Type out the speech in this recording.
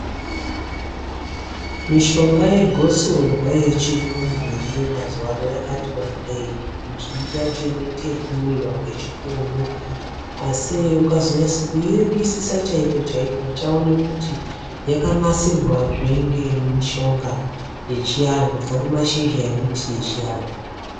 Mishonga yegosorwa yechirungu iriyo mazuwano yakati wandei. Mizhinji yacho inoite yekumwiwa ngechipunu. Asi ukazonyase kuiringisa chaiko chaiko, uchaone kuti yakanasirwazve ngemishonga yechiantu, kubva kumashizha emiti yechiantu.